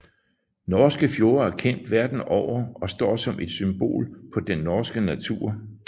Norske fjorde er kendt verden over og står som et symbol på den norske natur